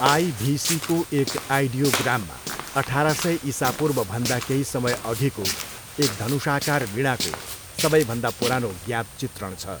आइभिसीको एक आइडियोग्राममा अठार सय इसापूर्वभन्दा केही समयअघिको एक धनुषाकार वीणाको सबैभन्दा पुरानो ज्ञात चित्रण छ।